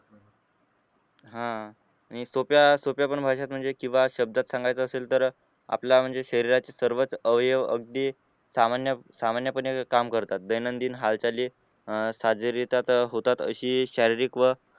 हा अं आणि सोप्या सोप्यापण भाषेत म्हणजे किंवा शब्दात सांगायचं असेल तर आपल्या म्हणजे शरीराचे सर्वच अवयव अगदी सामान्य सामान्यपणे काम करतात दैनंदिन हालचाली अं अशी शारीरिक व